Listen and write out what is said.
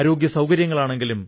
അത് തൊഴിൽ ലഭ്യമാക്കുന്നു